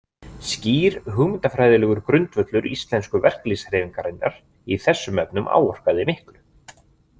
Skýr hugmyndafræðilegur grundvöllur íslensku verkalýðshreyfingarinnar í þessum efnum áorkaði miklu.